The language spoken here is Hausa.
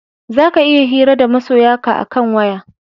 Za ka iya hira da masoya ka a kan waya